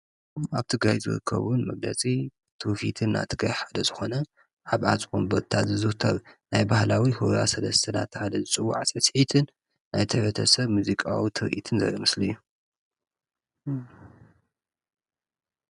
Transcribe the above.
ኣብ ትግራይ ዝርከብ መግለፂ ትውፊትና ናይ ትግራይ ሓደ ዝኾነ ኣብ ኣፅቢ ወንበርታ ዝዝውተር ናይ ባህላዊ ሁራ ሰለስተ እናተባህለ ዝፅዋዕ ስዕስዒትን ናይቲ ሕብረተሰብ ሙዚቃዊ ትርኢትን ዘርኢ ምስሊ እዩ፡፡